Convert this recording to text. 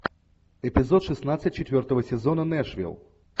эпизод шестнадцать четвертого сезона нэшвилл